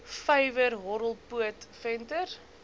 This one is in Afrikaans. vyver horrelpoot venter